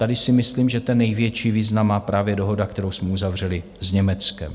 Tady si myslím, že ten největší význam má právě dohoda, kterou jsme uzavřeli s Německem.